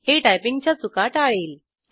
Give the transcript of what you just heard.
हे टायपिंगच्या चुका टाळेल